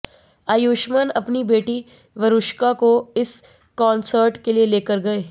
आयुष्मान अपनी बेटी वरुश्का को इस कॉन्सर्ट के लिए लेकर गए